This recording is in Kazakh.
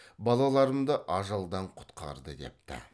балаларымды ажалдан құтқарды депті